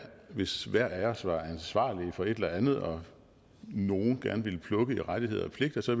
hvis hver af os var ansvarlig for et eller andet og nogle gerne ville plukke i rettigheder og pligter så